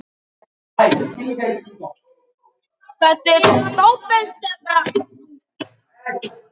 Var þetta ekki fjármarkið hans föður þíns, Sveinki?